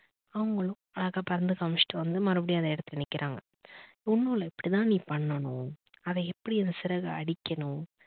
அவங்களும் அழகா பறந்து காமிச்சுட்டு வந்து மறுபடியும் அத எடுத்து நிக்கிறாங்க. ஒன்னும் இல்ல இப்படித்தான் நீ பண்ணனும், அத எப்படி இந்த சிறக அடிக்கணும்